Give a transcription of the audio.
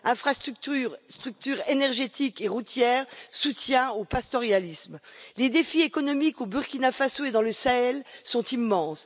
Infrastructures énergétiques et routières, soutien au pastoralisme, les défis économiques au Burkina Faso et dans le Sahel sont immenses.